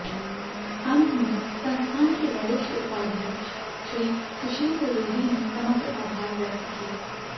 अंत में संस्थान के वरिष्ठ उपाध्यक्ष श्री सुशील त्रिवेदी ने समग्र आभार व्यक्त किया